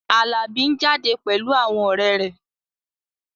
Alabi ń jáde pẹ̀lú àwọn ọ̀rẹ́ rẹ̀